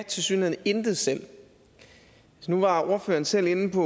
tilsyneladende intet selv nu var ordføreren selv inde på